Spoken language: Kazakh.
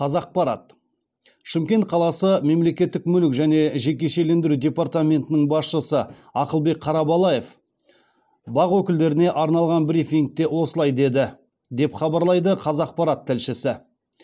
қазақпарат шымкент қаласы мемлекеттік мүлік және жекешелендіру департаментінің басшысы ақылбек қарабалаев бақ өкілдеріне арналған брифингте осылай деді деп хабарлайды қазақпарат тілшісі